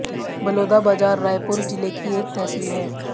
बलोदा बाजार रायपुर जिले की एक तहसील है